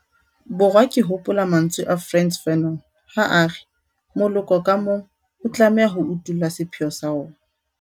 Borwa ke hopola mantswe a Frantz Fanon ha a re 'moloko ka mong o tlameha ho utolla sepheo sa ona'.